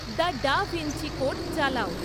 the Da Vinci Code চালাও